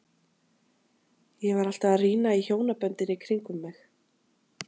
Ég var alltaf að rýna í hjónaböndin í kring um mig.